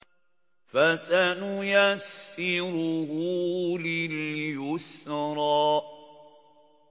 فَسَنُيَسِّرُهُ لِلْيُسْرَىٰ